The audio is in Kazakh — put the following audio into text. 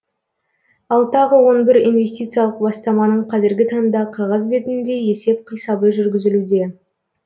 ал тағы он бір инвестициялық бастаманың қазіргі таңда қағаз бетінде есеп қисабы жүргізілуде